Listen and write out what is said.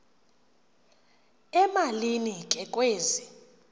emalini ke kwezi